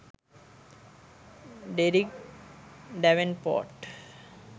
derrick davenport